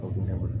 O kun ne bolo